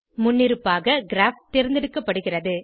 முன்னிருப்பாக கிராப் தேர்ந்தெடுக்கப்படுகிறது